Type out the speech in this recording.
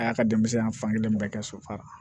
A y'a ka denmisɛn ya fan kelen bɛɛ kɛ sofara